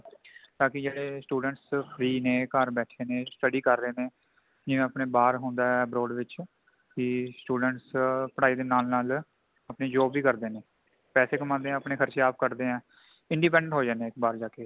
ਤਾਂ ਕਿ ਜਿਹੜੇ students free ਨੇਂ ਘਰ ਬੈਠੇ ਨੇ study ਕਰ ਰਹੇ ਜਿਵੇਂ ਆਪਣੇ ਭਾਰ ਹੁੰਦਾ ਹੈ , abroad ਵਿਚ ਕਿ student ਪੜ੍ਹਾਈ ਦੇ ਨਾਲ ਨਾਲ ਅਪਣੀ job ਵੀ ਕਰਦੇ ਨੇ ,ਪੈਸੇ ਕਮਾਂਦੇ ਨੇ ਤੇ ਅਪਣੇ ਖ਼ਰਚੇ ਆਪ ਕੱਢਦੇ ਹੈ independent ਹੋ ਜਾਂਦੈ ਨੇ ਬਾਰ ਜਾਂਕੇ